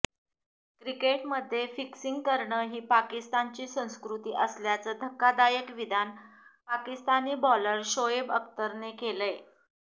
क्रिकेटमध्ये फिक्सिंग करणं ही पाकिस्तानची संस्कृती असल्याचं धक्कादायक विधान पाकिस्तानी बॉलर शोएब अख्तरने केलंय